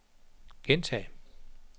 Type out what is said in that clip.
gentag